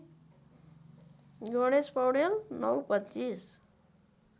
Ganesh Paudel ०९ २५